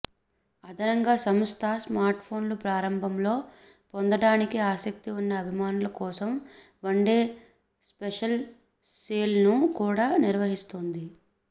అదనంగా సంస్థ స్మార్ట్ఫోన్ను ప్రారంభంలో పొందడానికి ఆసక్తి ఉన్న అభిమానుల కోసం వన్డే స్పెషల్ సేల్ను కూడా నిర్వహిస్తోంది